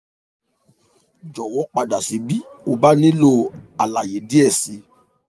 jọwọ pada si bi o ba nilo alaye diẹ sii